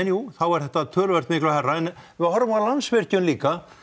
jú er þetta töluvert miklu hærra en ef við horfum á Landsvirkjun líka